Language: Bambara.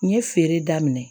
N ye feere daminɛ